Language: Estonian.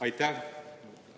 Aitäh!